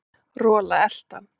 Rola elti hann.